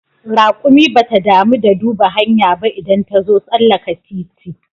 Raƙumi bata damu da duba hanya ba idan tazo tsallaka titi